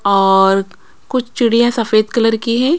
और कुछ चिड़ियां सफेद कलर की है।